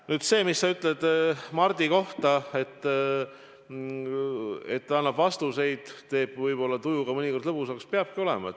Nüüd see, mis sa ütled Mardi kohta, et ta annab vastuseid, mis teevad tuju mõnikord lõbusamaks – nii peabki olema.